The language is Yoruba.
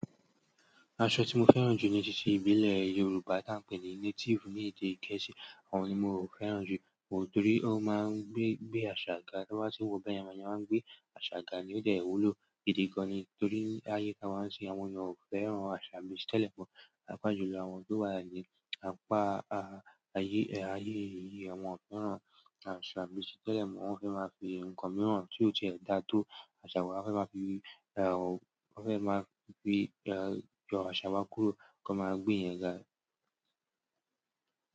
Aṣọ tí mo fẹ́ràn jù ní títí ìbílẹ̀ Yorùbá tí a ń pè ní native ní èdè Gẹ̀ẹ́sì. Àwọn ni mo fẹ́ràn jù nítorí ó máa ń gbé, gbé àṣà ga. Ìgbà tí a bá tín wọ̀ọ́ báyẹn, èèyàn máa ń gbé àṣà ga ní ódẹ̀ wúlò. Ìdí gan ni torí láyé tá wá n se àwọn èèyàn ò fẹ́ràn àṣà bíi ti tẹ́lẹ̀ mọ́. Pàápàá jùlọ àwọn tó wà lálẹ́, apá a-a-ayé, ayé yìí wọn ò fẹ́ràn àṣà bíi ti tẹ́lẹ̀ mọ́. Wọ́n fẹ́ máa fi nǹkan mìíràn tí ó ti ẹ̀ dá tó àṣà wa fẹ́ máa fi, ẹ́h, wọ́n fẹ́ máa fi, ẹ́h, yọ àṣà wa kúrò kí wọ́n máa gbé ìyẹn ga.